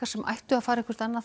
sem ættu að fara annað